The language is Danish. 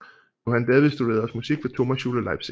Johann David studerede også musik ved Thomasschule Leipzig